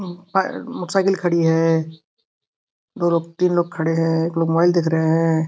ए और मोटरसाइकिल खड़ी है दो लोग तीन लोग खड़े हैं एक लोग मोबाइल देख रहे हैं।